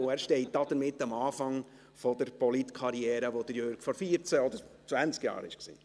Er steht damit am Anfang der Politkarriere, an der Jürg Iseli vor vierzehn oder zwanzig Jahren stand.